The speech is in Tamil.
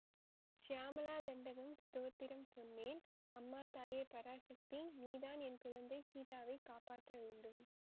சியாமளா தண்டகம் ஸ்தோத்திரம் சொன்னேன் அம்மா தாயே பராசக்தி நீதான் என் குழந்தை சீதாவைக் காப்பாற்ற வேண்டும்